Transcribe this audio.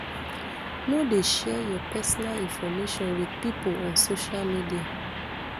no dey share your personal information wit pipo on social media